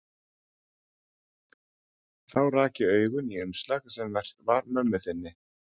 Þá rak ég augun í umslag sem merkt var mömmu þinni.